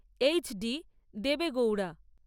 H D Devegowda